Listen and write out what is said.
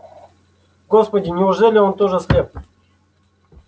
господи неужели он тоже слеп